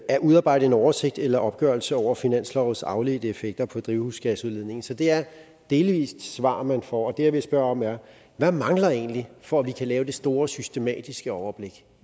at udarbejde en oversigt eller opgørelse over finanslovens afledte effekter på drivhusgasudledningen så det er et delvist svar man får og det jeg vil spørge om er hvad mangler egentlig for at vi kan lave det store systematiske overblik